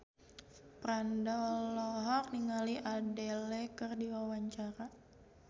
Franda olohok ningali Adele keur diwawancara